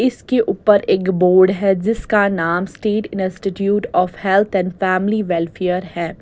इसके ऊपर एक बोर्ड है जिसका नाम state institute of health and family welfare है।